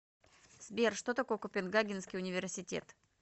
сбер что такое копенгагенский университет